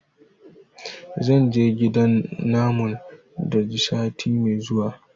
zan je gidan namun daji sati me zuwa